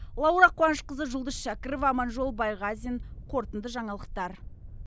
лаула қуанышқызы жұлдыз шәкірова аманжол байғазин қорытынды жаңалықтар